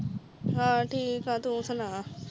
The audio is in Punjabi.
ਹਾਂ ਠੀਕ ਆ ਤੂੰ ਸੁੰਣਾ